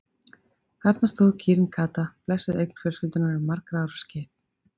Þarna stóð kýrin Kata, blessuð eign fjölskyldunnar um margra ára skeið.